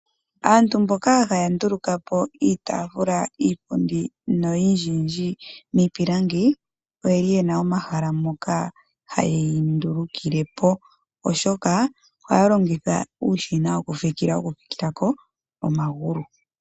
Aantu mboka haya nduluka po iitaafula, iipundi noyindjiyndji miipilangi, oye yena omahala moka hayi ndulukile po, oshoka ohaya longitha uushina wokufikila ko omagulu.